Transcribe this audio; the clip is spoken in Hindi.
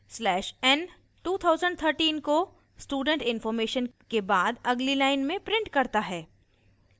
slash n 2013 को student इन्फॉर्मेशन के बाद अगली line में prints करता है